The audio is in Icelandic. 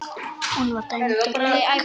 Hún var dæmd úr leik.